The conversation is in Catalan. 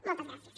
moltes gràcies